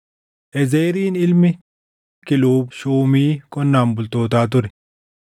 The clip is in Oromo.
Ezeriin ilmi Kiluub shuumii qonnaan bultootaa ture.